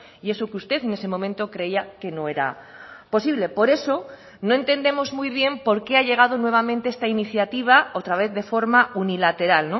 y eso que usted en ese momento creía que no era posible por eso no entendemos muy bien por qué ha llegado nuevamente esta iniciativa otra vez de forma unilateral